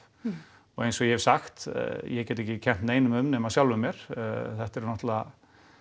og eins og ég hef sagt get ég ekki kennt neinum um nema sjálfum mér þetta eru náttúrulega